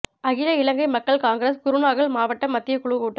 அகில இலங்கை மக்கள் காங்கிரஸ் குருநாகல் மாவட்ட மத்திய குழு கூட்டம்